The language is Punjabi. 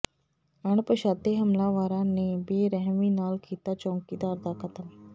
ਅਣਪਛਾਤੇ ਹਮਲਾਵਾਰਾਂ ਨੇ ਬੇਰਿਹਮੀ ਨਾਲ ਕੀਤਾ ਚੌਕੀਦਾਰ ਦਾ ਕਤਲ